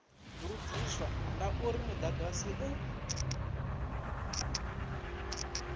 lugiswa na uri mudagasi u